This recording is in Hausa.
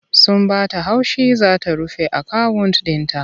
Sun ba ta haushi za ta rufe akawunt ɗin ta.